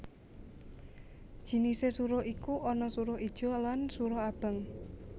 Jinisé suruh iku ana suruh ijo lan suruh abang